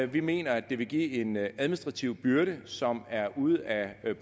vi mener at det vil give en administrativ byrde som er ude af